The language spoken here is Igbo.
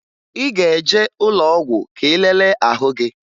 Ị ga-eje ụlọọgwụ ka ị lelee ahụ gị